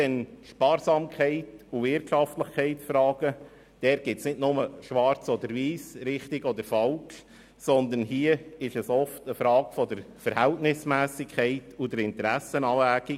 Bei Sparsamkeit und Wirtschaftlichkeitsfragen gibt es nicht nur Schwarz oder Weiss, richtig oder falsch, sondern es geht hier oft um eine Frage der Verhältnismässigkeit und der Interessenabwägung.